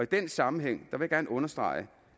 den sammenhæng vil jeg gerne understrege